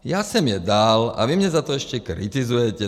Já jsem je dal a vy mě za to ještě kritizujete.